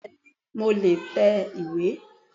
Bẹ́ẹ̀ni mo le è tẹ ìwé